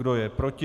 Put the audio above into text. Kdo je proti?